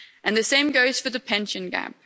The same goes for the pension gap.